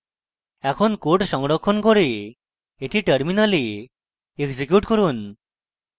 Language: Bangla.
এখন code সংরক্ষণ করে এটি terminal execute করুন